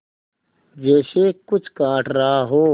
जैसे कुछ काट रहा हो